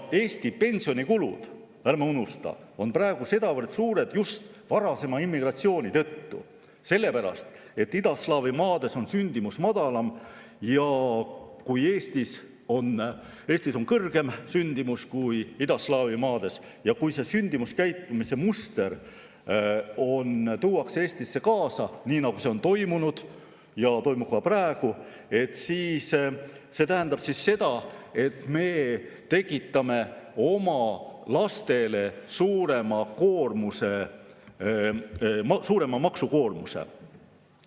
Eesti pensionikulud, ärme unustame, on praegu sedavõrd suured just varasema immigratsiooni tõttu, sellepärast, et idaslaavi maades on sündimus madalam, ja kui Eestis on kõrgem sündimus kui idaslaavi maades ning sealne sündimuskäitumise muster tuuakse Eestisse kaasa, nii nagu see on toimunud ja toimub ka praegu, siis see tähendab seda, et me tekitame oma lastele suurema maksukoormuse.